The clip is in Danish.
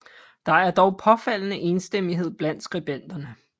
Der er dog påfaldende enstemmighed blandt skribenterne